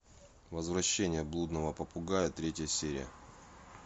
возвращение блудного попугая третья серия